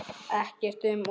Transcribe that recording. Ekkert um of.